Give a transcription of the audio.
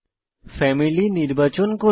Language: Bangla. ফ্যামিলি নির্বাচন করুন